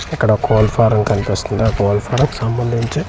ఇక్కడ కోళ్ళ ఫారం కనిపిస్తుంది ఆ కోళ్ళ ఫారం సంబందించి .]